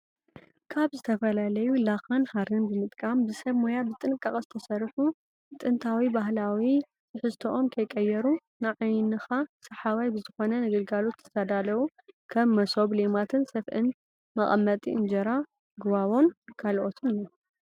ካብ ዝተፈላለዩ ላኻን ሃሪን ብምጥቃም ብሰብ ሞያ ብጥንቃቐ ዝተሰርሑ ዝተሰርሑ ጥንታዊ ባህላዊ ትሕዝትኦም ከይቀየሩ ንዓይንኻ ሰሓባይ ብዝኾነ ንግልጋሎት ዝተዳለዉ ከም መሶብ÷ሌማትን ስፍእን መቕመጢ እንጀራ ጎባቦን ካልኦትን እዮም።